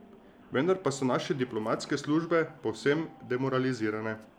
Vendar pa so naše diplomatske službe povsem demoralizirane.